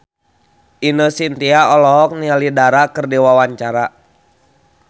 Ine Shintya olohok ningali Dara keur diwawancara